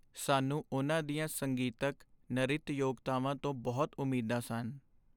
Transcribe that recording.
ਸਾਨੂੰ ਉਨ੍ਹਾਂ ਦੀਆਂ ਸੰਗੀਤਕ, ਨਰਿਤ ਯੋਗਤਾਵਾਂ ਤੋਂ ਬਹੁਤ ਉਮੀਦਾਂ ਸਨ।